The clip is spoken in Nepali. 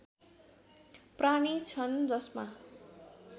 प्राणी छन् जसमा